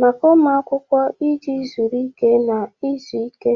maka ụmụ akwụkwọ iji zuru ike na izu ike.